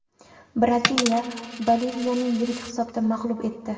Braziliya Boliviyani yirik hisobda mag‘lub etdi .